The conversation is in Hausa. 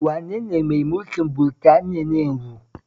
Wane ne mai mulkin Britaniya na yanzu?